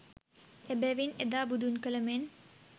එබැවින් එදා බුදුන් කල මෙන්